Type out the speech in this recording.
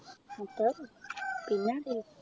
അത്രേ ഉള്ളു പിന്നെ ആരൂല്ല